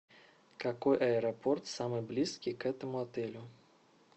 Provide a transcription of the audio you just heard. какой аэропорт самый близкий к этому отелю